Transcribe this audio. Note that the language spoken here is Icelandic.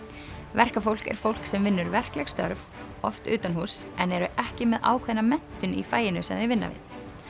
verkafólk er fólk sem vinnur verkleg störf oft utanhúss en eru ekki með ákveðna menntun í faginu sem þau vinna við